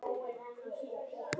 Gat ekki annað en brosað.